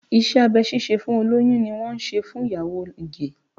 Iṣẹ́ abẹ ṣíṣe fún olóyún ni wọ́n ṣe fún ìyàwó Ige